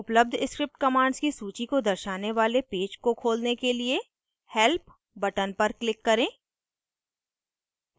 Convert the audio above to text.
उपलब्ध script commands की सूची को दर्शाने वाले पेज को खोलने के लिए help button पर click करें